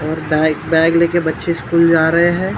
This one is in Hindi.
औ बै बैग लेके बच्चे स्कूल जा रहे है ।